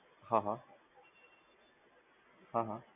હા હા હા હા